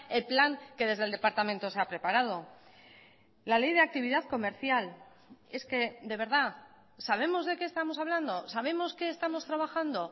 el plan que desde el departamento se ha preparado la ley de actividad comercial es que de verdad sabemos de qué estamos hablando sabemos qué estamos trabajando